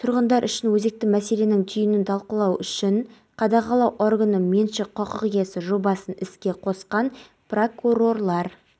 қазақстан полицейлері алдағы уақытта да бар күшін тәжірибесі мен қуатын абыройлы парызды сәтті орындауға жұмсайтынына